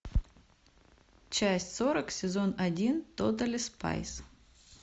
часть сорок сезон один тотали спайс